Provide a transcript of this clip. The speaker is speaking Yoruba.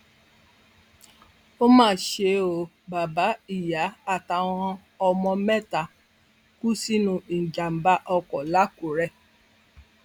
ó mà ṣe ó bàbá ìyá àtàwọn ọmọ mẹta kú sínú ìjàmàbá ọkọ làkúrẹ